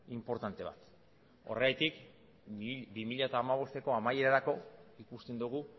inportante bat horregatik bi mila hamabosteko amaierarako ikusten dugu